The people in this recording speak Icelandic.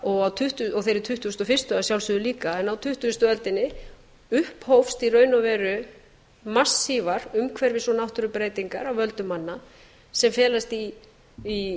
og þeirri tuttugustu og fyrstu að sjálfsögðu líka en á tuttugustu öldinni upphófst í raun og veru massívar umhverfis og náttúrubreytingar af völdum manna sem felast í